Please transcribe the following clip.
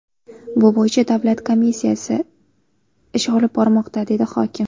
Bu bo‘yicha davlat komissiyasi ish olib bormoqda”, dedi hokim.